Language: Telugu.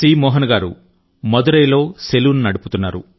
మోహన్ గారు మదురైలో సెలూన్ నడుపుతున్నారు